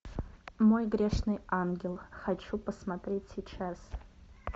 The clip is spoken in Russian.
мой грешный ангел хочу посмотреть сейчас